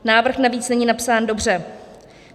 Návrh navíc není napsán dobře.